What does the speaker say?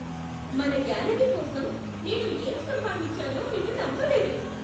మన గ్యాలరీ కోసం నేను ఏం సంపాదించానో మీరు నమ్మలేరు!